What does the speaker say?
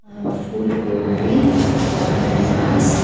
full गोभी अनानास--